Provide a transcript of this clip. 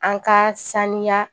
An ka saniya